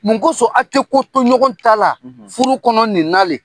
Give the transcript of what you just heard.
Mun kosɔn a tɛ ko to ɲɔgɔn ta la furu kɔnɔ ninna len?